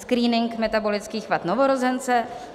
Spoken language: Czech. Screening metabolických vad novorozence.